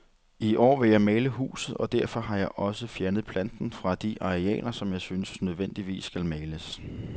I år vil jeg male huset, og derfor har jeg også fjernet planten fra de arealer, som jeg synes nødvendigvis skal males.